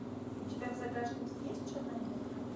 у тебя в загашнике есть черная метка